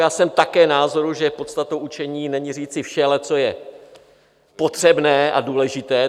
Já jsem také názoru, že podstatou učení není říci vše, ale co je potřebné a důležité.